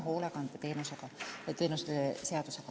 Henn Põlluaas.